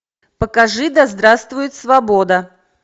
покажи да здравствует свобода